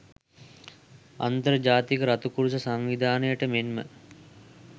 අන්තර් ජාතික රතුකරුස සංවිධානයට මෙන්ම